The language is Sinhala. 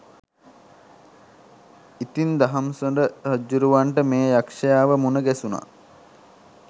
ඉතින් දහම්සොඬ රජ්ජුරුවන්ට මේ යක්ෂයාව මුණගැසුණා